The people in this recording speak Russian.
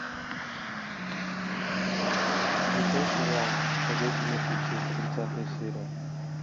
включай сериал ходячие мертвецы тридцатая серия